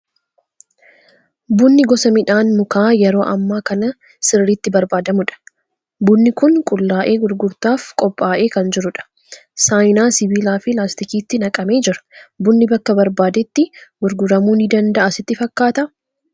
Bunni gosa midhaan mukaa yeroo ammaa kana sirriitti barbaadamudha. Bunni kun qullaa'ee gurgurtaaf qophaa'ee kan jiru dha. Saayinaa sibiilaa fi laastikiitti naqamee jira. Bunni bakka barbaadetti gurguramuu ni danda'a sitti fakkaataa?